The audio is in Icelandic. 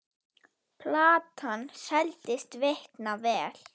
Platan seldist feikna vel.